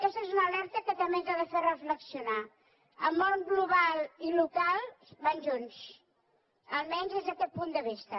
aquesta és una alerta que també ens ha de fer reflexionar el món global i el local van junts almenys des d’aquest punt de vista